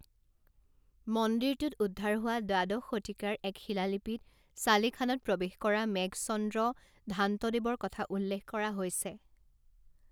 মন্দিৰটোত উদ্ধাৰ হোৱা দ্বাদশ শতিকাৰ এক শিলালিপিত ছালেখানাত প্ৰৱেশ কৰা মেঘচন্দ্ৰ দ্ধান্তদেৱৰ কথা উল্লেখ কৰা হৈছে।